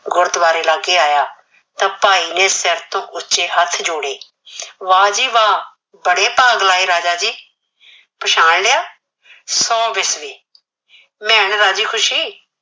ਗੁਰਦੁਆਰੇ ਲਾਗੇ ਆਇਆ ਤਾਂ ਭਾਈ ਨੇ ਸਿਰ ਤੋਂ ਉੱਚੇ ਹੱਠ ਜੋੜੇ, ਵਾਹ ਜੀ ਵਾਹ ਬੜੇ ਭਾਗ ਲਾਏ ਰਾਜਾ ਜੀ, ਪਛਾਣ ਲਿਆ, ਸੋ ਬਿਸ਼ਨੀ ਮੈਣ ਰਾਜੀ ਖੁਸ਼ੀ।